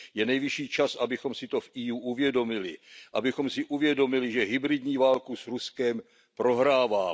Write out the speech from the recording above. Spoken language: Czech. Je nejvyšší čas, abychom si to v Evropské unii uvědomili. Abychom si uvědomili, že hybridní válku s Ruskem prohráváme.